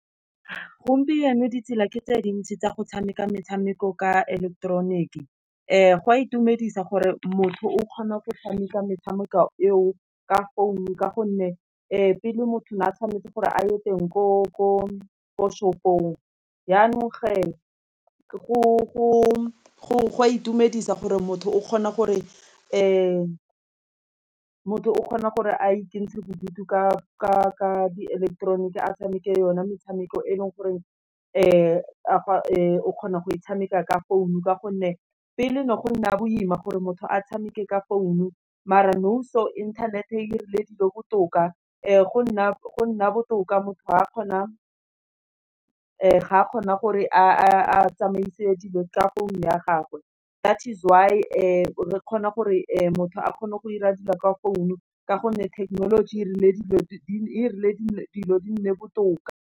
Gompieno ditsela ke tse dintsi tsa go tshameka metshameko ka eleketeroniki, go a itumedisa gore motho o kgona go tshameka metshameko eo, ka founu ka gonne pele motho ne a tshwanetse gore a ye teng ko shop-ong, yanong ge, gwa itumedisa gore motho o kgona gore a ikentshang bodutu ka di eleketeroniki, a tshameke yone metshameko e leng goreng o kgona go e tshameka ka founu, ka gonne pele ne go nna boima gore motho a tshameke ka founu, mara nou so internet-e dirile dilo botoka, go nna botoka motho ga a kgona gore a tsamaise dilo ka founo ya gagwe, that is why fa re kgona gore motho a kgone go ira dilo kwa phone, ka gonne thekenoloji e dirile dilo di nne botoka.